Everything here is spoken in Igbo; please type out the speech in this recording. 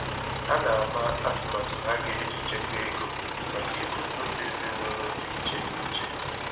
Ha na-ama atụmatụ ha ga-eji chekwa ego maka ebumnobi ezịnụlọ dị iche n'iche